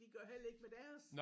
De gør heller ikke med deres